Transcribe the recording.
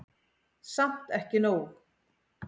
Samt ekki nóg.